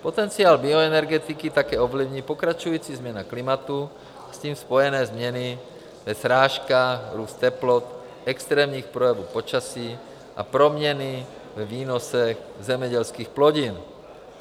Potenciál bioenergetiky také ovlivní pokračující změna klimatu a s tím spojené změny ve srážkách, růst teplot, extrémních projevů počasí a proměny ve výnosech zemědělských plodin.